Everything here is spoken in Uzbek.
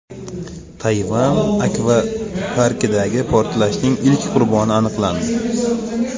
Tayvan akvaparkidagi portlashning ilk qurboni aniqlandi.